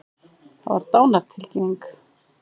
Það var dánartilkynning.